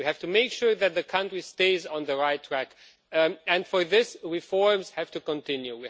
We have to make sure that the country stays on the right track, and for this reforms have to continue.